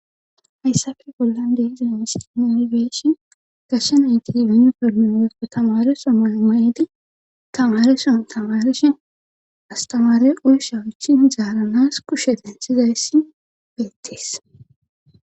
hayssafe bollan deizen istineigeeshi gashsha nayti winu permeoepo tamare somoomayedi tamareshon tamarishon astamare oy shawuchi zaaranas kushe densizayssi beettes